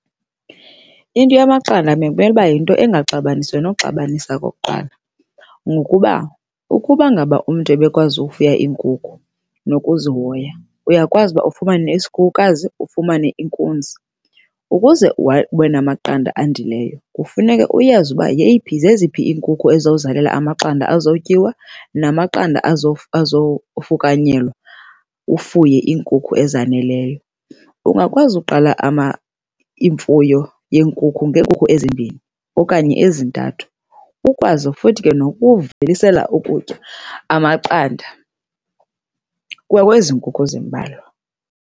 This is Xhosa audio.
Into yamaqanda bekumele uba yinto engaxabanisiyo noxabanisa okokuqala. Ngokuba ukuba ngaba umntu ebekwazi ufuya iinkukhu nokuzihoya, uyakwazi uba ufumane isikhukukazi, ufumane inkuzi. Ukuze ube namaqanda andileyo kufuneka uyazi yeyiphi zeziphi iinkukhu ezizawuzalela amaqanda azawutyiwa namaqanda azowufukanyelwa ufuye iinkukhu ezaneleyo. Ungakwazi uqala iimfuyo yenkukhu ngekhukhu ezimbini okanye ezintathu, ukwazi futhi ke nokuvelisela ukutya amaqanda kwakwezi nkukhu zimbalwa.